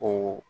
O